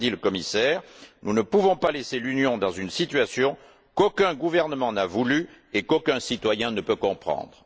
comme l'a dit le commissaire, nous ne pouvons pas laisser l'Union dans une situation qu'aucun gouvernement n'a voulue et qu'aucun citoyen ne peut comprendre.